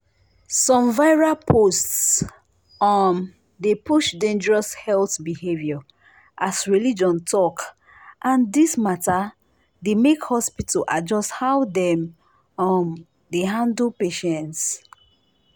some viral post um dey push dangerous health behavior as religion talk and this mata dey make hospital adjust how dem um dey handle patients.